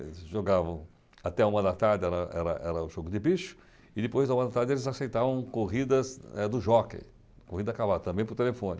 Eles jogavam até uma da tarde, era era era o jogo de bicho, e depois da uma da tarde eles aceitavam corridas eh do jockey, corrida a cavalo, também por telefone.